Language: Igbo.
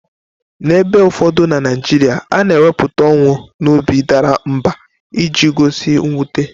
N'ebe ụfọdụ na Naijiria, a na-ekwupụta ọnwụ n'obi dara mbà iji gosi mwute.